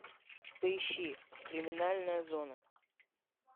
поищи криминальная зона